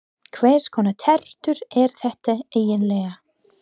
Hvers konar tertur eru þetta eiginlega?